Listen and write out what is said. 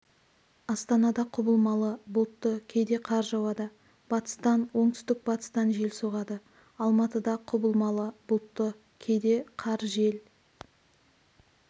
астанада құбылмалы бұлтты кейде қар жауады батыстан оңтүстік-батыстан жел соғады алматыда құбылмалы бұлтты кейде қар жел